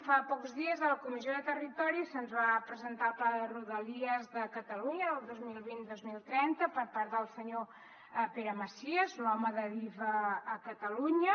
fa pocs dies a la comissió de territori se’ns va presentar el pla de rodalies de catalunya del dos mil vint dos mil trenta per part del senyor pere macias l’home d’adif a catalunya